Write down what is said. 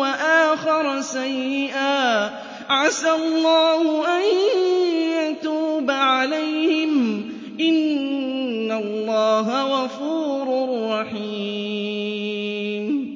وَآخَرَ سَيِّئًا عَسَى اللَّهُ أَن يَتُوبَ عَلَيْهِمْ ۚ إِنَّ اللَّهَ غَفُورٌ رَّحِيمٌ